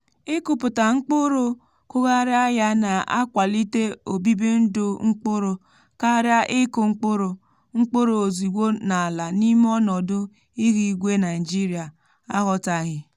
ịkụpụta mkpụrụ kụghariá ya na-akwalite obibi ndụ mkpụrụ karịa ịkụ mkpụrụ mkpụrụ ozìgbo n’àlà n'ime ọnọdụ ihu igwe naịjirịa aghọtaghi.